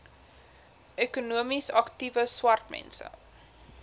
ekonomies aktiewe swartmense